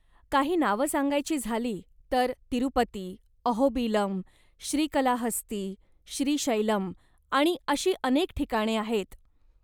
काही नावं सांगायची झाली तर तिरुपती, अहोबिलम, श्रीकलाहस्ती, श्रीशैलम आणि अशी अनेक ठिकाणे आहेत.